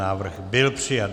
Návrh byl přijat.